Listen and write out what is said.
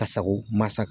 Ka sago masa